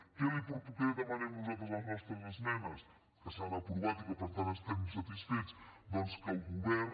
què demanem nosaltres a les nostres esmenes que s’han aprovat i que per tant n’estem satisfets doncs que el govern